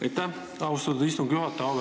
Aitäh, austatud istungi juhataja!